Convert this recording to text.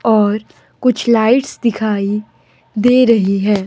और कुछ लाइट्स दिखाई दे रही है।